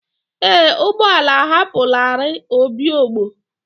Ee, ụgbọ ala ahapụlarị obigbo.